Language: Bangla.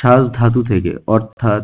সাজ ধাতু থেকে অর্থাৎ